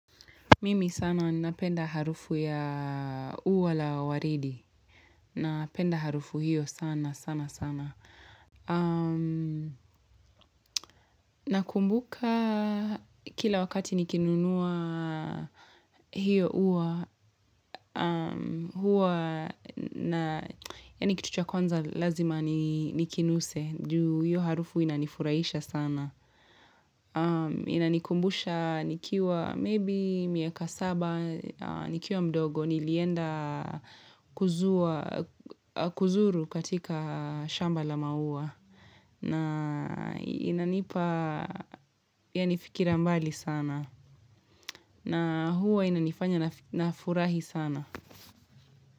Mimi sana napenda harufu ya ua la waridi. Napenda harufu hio sana, sana, sana. Nakumbuka kila wakati nikinunua hiyo ua. Huwa na, yani kitu cha kwanza lazima ni nikinuse. Juu hiyo harufu inanifurahisha sana. Inanikumbusha, nikiwa maybe miaka saba, nikiwa mdogo. Nilienda kuzua kuzuru katika shamba la maua na inanipa yanifikira mbali sana na huwa inanifanya nafurahi sana.